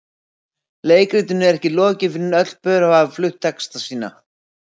Leikritinu er ekki lokið fyrr en öll pör hafa flutt texta sína.